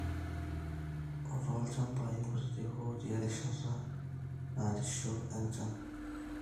ootolchambai kutitik ootii erishata naarishio enchan